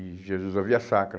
E Jesus da Via-Sacra.